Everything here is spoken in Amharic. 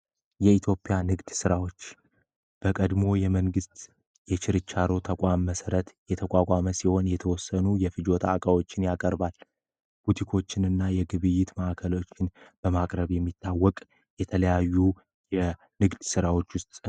የኢትዮጵያ ንግድ ስራዎች በቀድሞው የመንግስት የችርቻሮ ተቋም መሰረ የተቋቋመ ሲሆን የተወሰኑ የፍጆታ እቃዎችን ያቀርባል። ቡቲኮችን እና የግብይት ማዕከሎችን በማቅረብ የሚታወቅ የተለያዩ የንግድ ስራዎች ውስጥ ይመደባል።